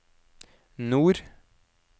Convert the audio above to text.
nord